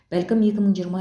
бәлкім екі мың жиырма